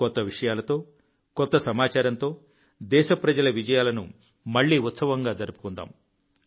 కొత్త విషయాలతో కొత్త సమాచారంతో దేశప్రజల విజయాలను మళ్లీ ఉత్సవంగా జరుపుకుందాం